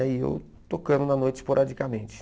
E eu tocando na noite esporadicamente.